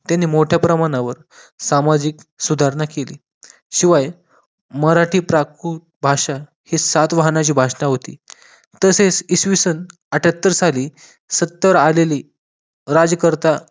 त्यांनी मोठ्या प्रमाणावर सामाजिक सुधारणा केली शिवाय मराठी प्राकृतिक भाषा ही सातवाहनाची भाषा होती तसेच इसवी सन आठयत्तर साली सत्तेवर आलेली राजकर्ता